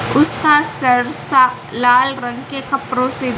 उसका सरसा लाल रंग के कपड़ो से--